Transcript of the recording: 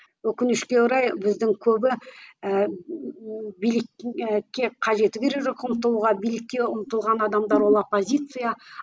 өкінішке орай біздің көбі ііі билікке қажеті керегі жоқ ұмтылуға билікке ұмтылған адамдар ол оппозиция